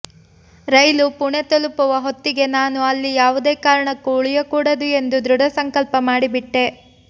ರೈಲು ಪುಣೆ ತಲುಪುವ ಹೊತ್ತಿಗೆ ನಾನು ಅಲ್ಲಿ ಯಾವುದೇ ಕಾರಣಕ್ಕೂ ಉಳಿಯಕೂಡದು ಎಂದು ದೃಢಸಂಕಲ್ಪ ಮಾಡಿಬಿಟ್ಟೆ